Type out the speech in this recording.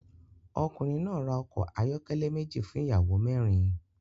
Ọkùnrin náà ra ọkọ̀ ayọ́kẹ́lẹ́ méjì fún ìyàwó mẹ́rin